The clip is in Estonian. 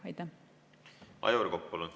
Aivar Kokk, palun!